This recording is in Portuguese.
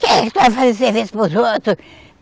Que que tu vai fazer serviço para os outros?